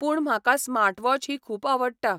पूण म्हाका स्मार्टवॉच ही खूब आवडटा.